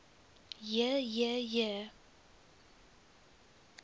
j j j